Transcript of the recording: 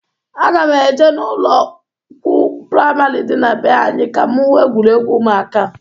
Aga m eje n'ụlọkwụ pramari dị na be anyị ka m hụ egwuregwu ụmụaka.